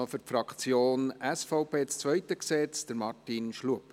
Für die Fraktion SVP: Martin Schlup.